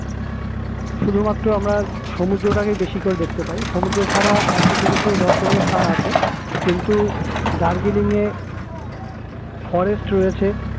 শুধুমাত্র আমরা সমুদ্র টাকেই বেশি করে দেখতে পাই সমুদ্র ছাড়া কিছু কিছু দর্শনীয় স্থান আছে কিন্তু দার্জিলিং এ forest রয়েছে